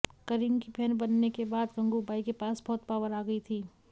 करीम की बहन बनने के बाद गंगूबाई के पास बहुत पॉवर आ गई थी